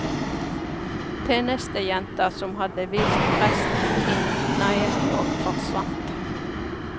Tjenestejenta som hadde vist presten inn neiet og forsvant.